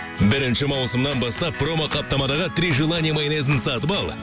бірінші маусымнан бастап промоқаптамадағы три желание майонезін сатып ал